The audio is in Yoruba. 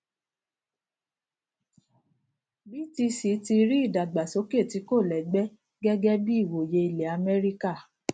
btc tí rí ìdàgbàsókè tí kò lẹgbẹ gẹgẹ bí ìwòye ilẹ amẹríkà